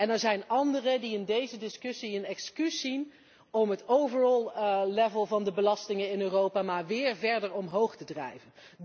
En er zijn anderen die in deze discussie het excuus zien om het totale niveau van de belastingen in Europa maar weer verder omhoog te drijven.